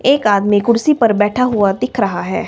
एक आदमी कुर्सी पर बैठा हुआ दिख रहा है।